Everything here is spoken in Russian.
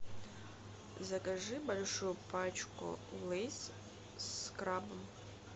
закажи большую пачку лейс с крабом